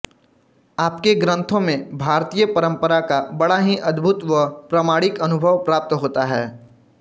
आपके ग्रन्थों में भारतीय परम्परा का बड़ा ही अद्भुत व प्रामाणिक अनुभव प्राप्त होता है